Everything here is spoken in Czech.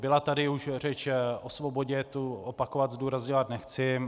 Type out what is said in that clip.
Byla tady už řeč o svobodě, tu opakovat, zdůrazňovat nechci.